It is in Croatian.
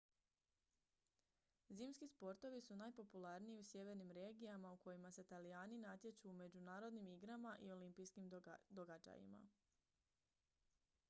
zimski sportovi su najpopularniji u sjevernim regijama u kojima se talijani natječu u međunarodnim igrama i olimpijskim događajima